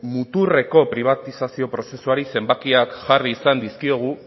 muturreko pribatizazio prozesuari zenbakiak jarri izan dizkiogu